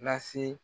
Lase